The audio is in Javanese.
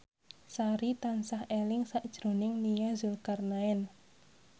Sari tansah eling sakjroning Nia Zulkarnaen